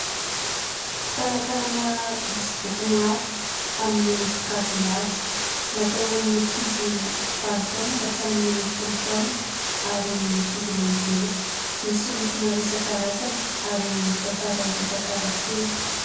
Talantalana misy boky maro amin'ny sokajiny avy. Natao ho an'ny ankizy valo taona ka hatramin'ny folo taona ary ny ankizy lehibe. Misy maro loko isan-karazany ary mitantara ireo tantara kely.